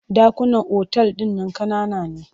Ɗakunan otal ɗin nan ƙanana ne.